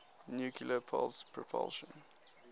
nuclear pulse propulsion